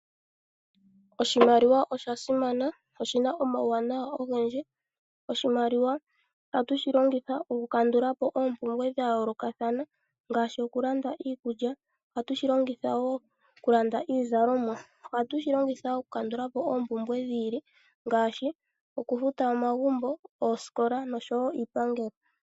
Oshimaliwa osha simamana, oshina omauwanawa ogendji. Oshimaliwa ohatu shi longitha okukandula po ompumbwe dha yoolokathana ngaashi okulanda iikulya, ohatu shi longitha wo okulanda iizalomwa. Ohatu shi longitha wo okukandula oompumbwe dhi ili ngaashi okufuta omagumbo, oosikola nosho wo iipangelo.